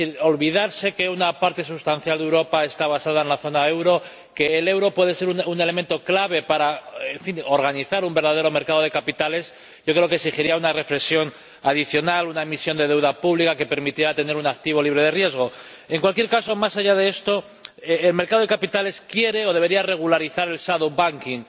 Olvidarse de que una parte sustancial de Europa está basada en la zona del euro, que el euro puede ser un elemento clave para organizar un verdadero mercado de capitales, yo creo que exigiría una reflexión adicional, una emisión de deuda pública que permitiera tener un activo libre de riesgo. En cualquier caso, más allá de esto, el mercado de capitales quiere o debería regularizar el shadow banking